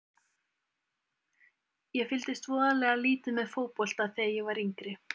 Ég fylgdist voðalega lítið með fótbolta þegar ég var yngri.